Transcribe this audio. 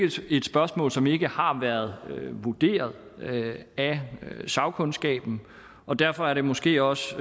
et spørgsmål som ikke har været vurderet af sagkundskaben og derfor er det måske også